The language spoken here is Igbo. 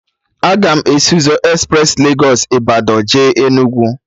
Aga m esi ụzọ espres Legos Ịbadọ jee Enugu